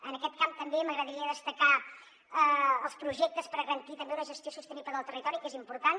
en aquest camp també m’agradaria destacar els projectes per garantir també una gestió sostenible del territori que és important